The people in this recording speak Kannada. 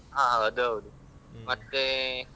ಹ ಹಾ ಅದೌದು ಮತ್ತೆ.